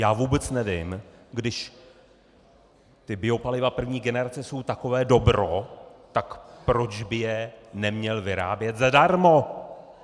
Já vůbec nevím, když ta biopaliva první generace jsou takové dobro, tak proč by je neměl vyrábět zadarmo?